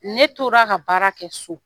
Ne tora ka baara kɛ so.